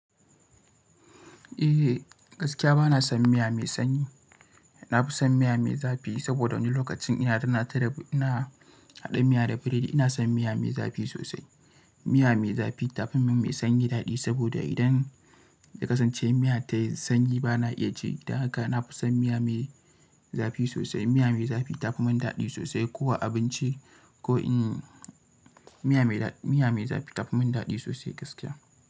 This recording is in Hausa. Eh gaskiya bana son miya mai sanyi. Na fi son miya mai zafi saboda wani lokacin ina haɗa miya da biredi ina son miya mai zafi sosai. Miya mai zafi ta fi min mai sanyi daɗi saboda idan na kasance miya tayi sanyi bana iya ci. Dan haka na fi son miya mai zafi sosai. Miya mai zafi ta fi mun daɗi sosai. Ko a abinci ko in miya mai zafi ta fi mun daɗi sosai gaskiya.